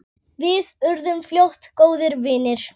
Við urðum fljótt góðir vinir.